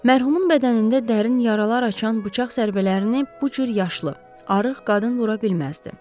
Mərhumun bədənində dərin yaralar açan bıçaq zərbələrini bu cür yaşlı, arıq qadın vura bilməzdi.